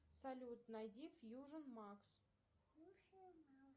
салют найди фьюжен макс